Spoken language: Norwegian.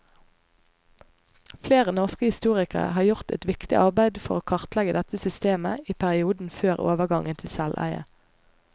Flere norske historikere har gjort et viktig arbeid for å kartlegge dette systemet i perioden før overgangen til selveie.